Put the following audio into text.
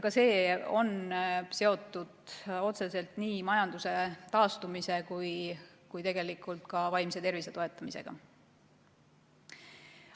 Ka see on otseselt seotud nii majanduse taastumise kui ka vaimse tervise toetamisega.